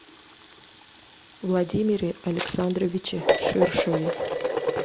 владимире александровиче ширшове